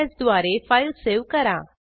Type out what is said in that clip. Ctrl S द्वारे file save करा